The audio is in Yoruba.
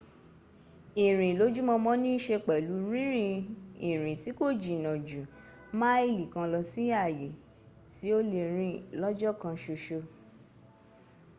ìrìn lójúmọmọ nííṣe pẹ̀lú rínrin ìrìn tí kò jìnnà ju máìlì kan lọ sí ààyè tí ó lè rìn lọ́jọ́ kan ṣoṣo